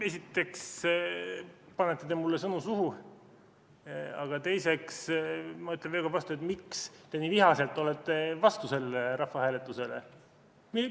Esiteks, te panete mulle sõnu suhu, aga teiseks ma küsin veel kord, miks te nii vihaselt olete selle rahvahääletuse vastu.